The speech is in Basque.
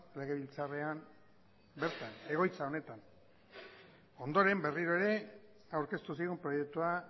legebiltzarrean bertan egoitza honetan ondoren berriro ere aurkeztu zigun proiektua